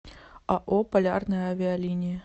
ао полярные авиалинии